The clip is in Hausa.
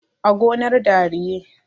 a gonar dariye